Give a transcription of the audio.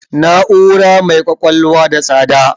Na'ura mai ƙwaƙwalwa n da tsada